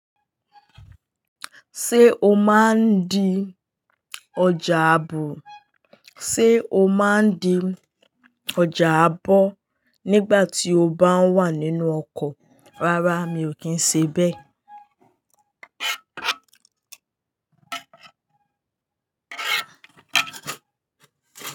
Sé o máa de ojà àgbo nígbà ti o báa wa nínú okò rárá mi kín se béè.